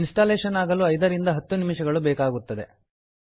installation ಆಗಲು 5 ರಿಂದ 10 ನಿಮಿಷಗಳು ಬೇಕಾಗುತ್ತದೆ